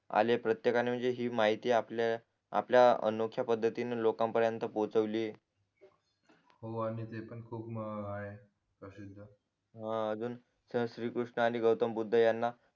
आले प्रत्येकानी हि माहिती आपल आपल्या अनोख्या पद्धतींनी लोकांन पर्येंत पोहचवली हो आणि तेपण खूप आहे प्रसिद्ध हा अजून चल श्री कृष्ण आणि गौतम बौद्ध यांना